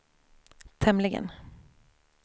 tämligen